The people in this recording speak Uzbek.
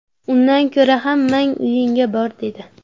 Undan ko‘ra hammang uyingga bor’ dedi.